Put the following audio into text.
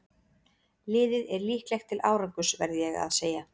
Liðið er líklegt til árangurs verð ég að segja.